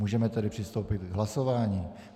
Můžeme tedy přistoupit k hlasování.